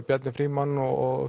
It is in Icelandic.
Bjarni Frímann og